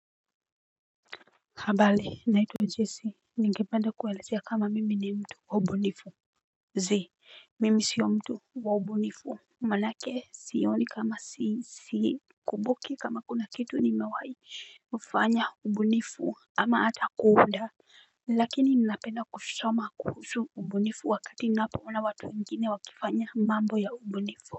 Habali naitwa jese ningependa kuwaelezea kama mimi ni mtu wa ubunifu. Zi mimi sio mtu wa ubunifu. Manake sioni kama sisi kubuki kama kuna kitu ni mewai ufanya ubunifu ama ata kuunda. Lakini ninapena kusoma kuhusu ubunifu wakati napo ona watu wengine wakifanya mambo ya ubunifu.